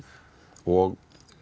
og